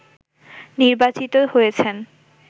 নির্বাচিত হয়েছেন